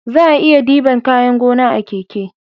Za'a iya diban kayan gona a keke